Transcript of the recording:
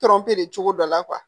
cogo dɔ la